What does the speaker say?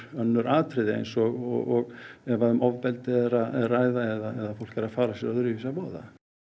önnur atriði eins og ef um ofbeldi er að ræða eða fólk er að fara sér öðruvísi að voða